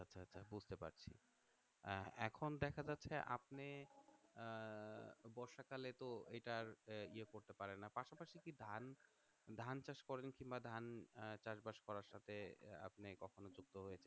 এখন দেখা যাচ্ছে আপনি আহ বর্ষাকালে তো এটার ইয়ে করতে পারেন না পাশাপাশি কি ধান ধান চাষ করেন কিংবা ধান আহ চাষবাস করার সাথে আপনি কখনো যুক্ত হয়েছেন